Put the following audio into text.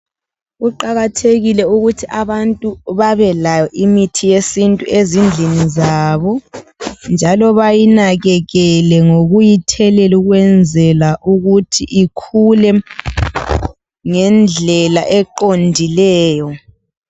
Kuqakathekile ukuthi abantu babelayo imithi yesintu ezindlini zabo, njalo bayinakekele ngokuyithelela ukwenzela ukuthi ikhule ngendlela eqondileyo.